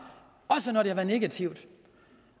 også når det har været negativt